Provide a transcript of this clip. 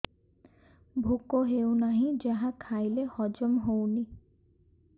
ଭୋକ ହେଉନାହିଁ ଯାହା ଖାଇଲେ ହଜମ ହଉନି